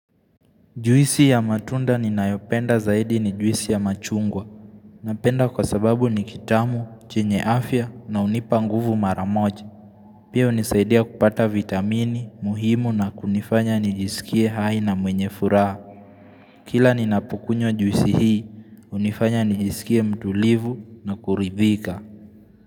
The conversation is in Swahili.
Juisi ya matunda ni nayopenda zaidi ni juisi ya machungwa. Napenda kwa sababu ni kitamu, chenye afya na unipa nguvu maramoja. Pia unisaidia kupata vitamini, muhimu na kunifanya nijisikie haina mwenye furaha. Kila ni napukunyo juisi hii, unifanya nijisikie mtulivu na kuridhika.